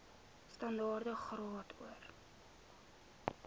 standaard graad or